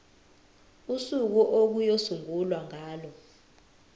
usuku okuyosungulwa ngalo